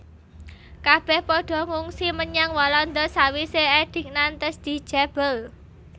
Kabèh padha ngungsi menyang Walanda sawisé Edik Nantes dijabel